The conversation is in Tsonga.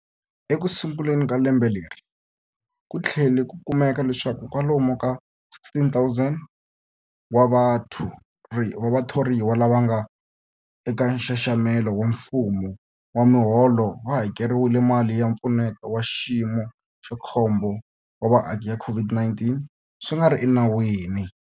Ekusunguleni ka lembe leri, ku tlhele ku kumeka leswaku kwalomu ka 16,000 wa vathoriwa lava nga eka nxaxamelo wa mfumo wa miholo va hakeriwile mali ya Mpfuneto wa Xiyimo xa Khombo wa Vaaki ya COVID-19 swi nga ri enawini.